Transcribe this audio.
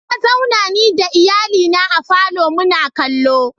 Na zauna ni da iyalina a falo muna kallo.